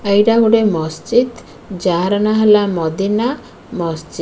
ଏଇଟା ଗୋଟେ ମସଜିତ୍ ଯାହାର ନାଁ ହେଲା ମଦିନା ମସଜିତ୍ ।